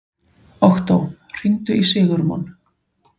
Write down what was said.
Októ, hringdu í Sigurmon.